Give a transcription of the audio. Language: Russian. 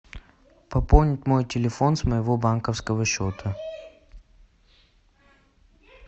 пополнить мой телефон с моего банковского счета